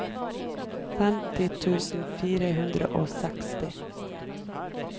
femti tusen fire hundre og seksti